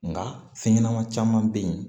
Nka fɛn ɲɛnama caman be yen